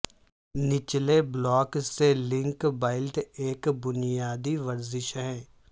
نچلے بلاک سے link belt ایک بنیادی ورزش ہے